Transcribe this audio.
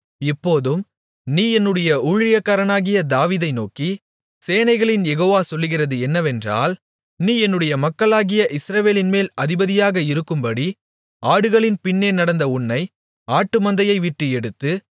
இப்போதும் நீ என்னுடைய ஊழியக்காரனாகிய தாவீதை நோக்கி சேனைகளின் யெகோவா சொல்லுகிறது என்னவென்றால் நீ என்னுடைய மக்களாகிய இஸ்ரவேலின்மேல் அதிபதியாக இருக்கும்படி ஆடுகளின் பின்னே நடந்த உன்னை ஆட்டுமந்தையைவிட்டு எடுத்து